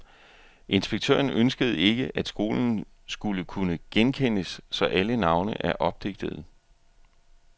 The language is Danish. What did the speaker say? Inspektøren ønskede ikke, at skolen skulle kunne genkendes, så alle navne er opdigtede.